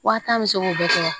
Wa tan bɛ se k'o bɛɛ kɛ wa